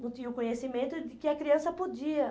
Não tinha o conhecimento de que a criança podia.